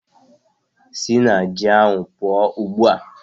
Sị na ji ahụ pụọ ugbu a!